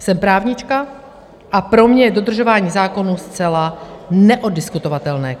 Jsem právnička a pro mě je dodržování zákonů zcela neoddiskutovatelné."